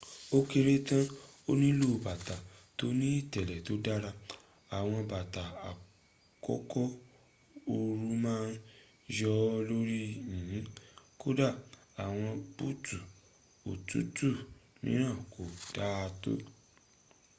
ó kéré tán o nílò bàtà tó ni ìtẹ̀lẹ̀ tó dára. àwọn bàtà àkókò ooru ma ń yọ̀ lórí yìnyìn kódà àwọn búùtù òtútù mìíràn kò daátó